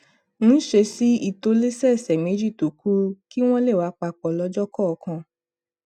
ń ṣe sí ìtòlésẹẹsẹ méjì tó kúrú kí wón lè wà papò lójó kòòkan